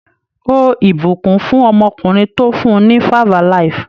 Ó ìbùkún fún ọmọkùnrin tó fún ní 5-alive.